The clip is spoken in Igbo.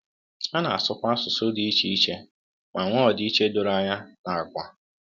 Ha na-asụkwa asụsụ dị iche iche ma nwee ọdịiche doro anya n’àgwà.